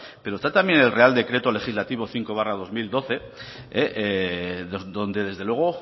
pero está también el real decreto legislativo cinco barra dos mil